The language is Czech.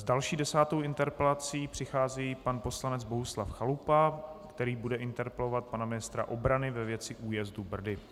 S další, desátou interpelací přichází pan poslanec Bohuslav Chalupa, který bude interpelovat pana ministra obrany ve věci újezdu Brdy.